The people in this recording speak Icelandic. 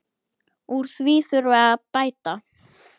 Úr því þurfi að bæta.